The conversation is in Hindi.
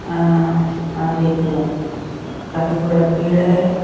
अ और एक काफी बड़ा पेड़ हैं ।